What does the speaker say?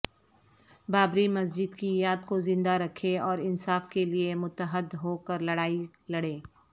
بابری مسجد کی یاد کو زندہ رکھیں اور انصاف کے لئے متحد ہوکر لڑائی لڑیں